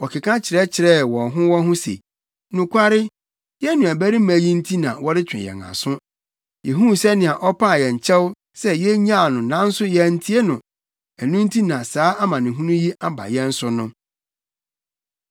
Wɔkeka kyerɛkyerɛɛ wɔn ho wɔn ho se, “Nokware, yɛn nuabarima yi nti na wɔretwe yɛn aso. Yehuu sɛnea ɔpaa yɛn kyɛw sɛ yenyaa no nanso yɛantie no; ɛno nti na saa amanehunu yi aba yɛn so no.”